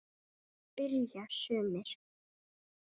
spyrja sumir.